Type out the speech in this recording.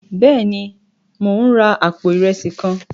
Béèni, Mo n rà apó irẹsi kàn